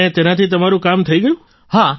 અને તેનાથી તમારું કામ થઈ ગયું